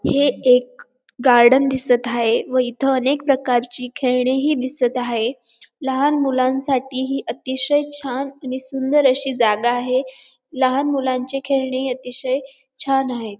हे एक गार्डन दिसत हाये व इथे अनेक प्रकारची खेळणीही दिसत हाये लहान मुलांसाठी ही अतिशय छान आणि सुंदर अशी जागा आहे लहान मुलांचे खेळणी अतिशय छान आहेत.